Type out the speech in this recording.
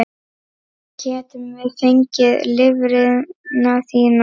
Getum við fengið lifrina þína?